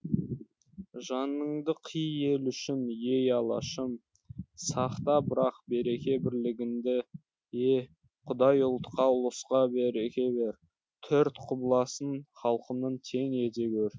жаныңды қи ел үшін ей алашым сақта бірақ береке бірлігіңдіе құдай ұлтқа ұлыста береке бер төрт құбыласын халқымның тең ете гөр